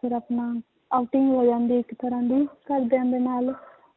ਫਿਰ ਆਪਣਾ outing ਹੋ ਜਾਂਦੀ ਹੈ ਇੱਕ ਤਰ੍ਹਾਂ ਦੀ ਘਰਦਿਆਂ ਦੇ ਨਾਲ